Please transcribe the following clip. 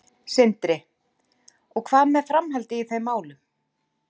Sindri: Og hvað með framhaldið í þeim málum?